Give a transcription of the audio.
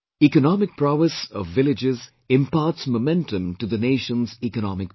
Economic prowess of villages imparts momentum to the nation's economic progress